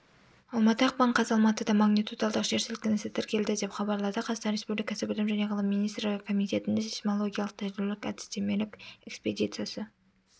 алматы ақпан қаз алматыда магнитудалық жер сілкінісі тіркелді деп хабарлады қазақстан республикасы білім және ғылым министрлігі комитетінің сейсмологиялық тәжірибелік әдістемелік экспедициясы